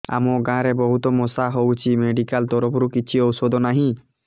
ଆମ ଗାଁ ରେ ବହୁତ ମଶା ହଉଚି ମେଡିକାଲ ତରଫରୁ କିଛି ଔଷଧ ନାହିଁ